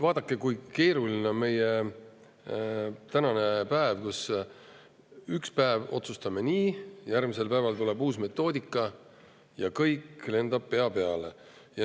Vaadake, kui keeruline tänapäeval on: ühel päeval otsustame nii, aga järgmisel päeval tuleb uus metoodika ja kõik lendab pea peale.